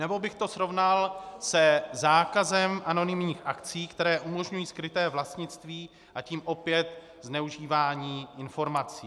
Nebo bych to srovnal se zákazem anonymních akcí, které umožňují skryté vlastnictví, a tím opět zneužívání informací.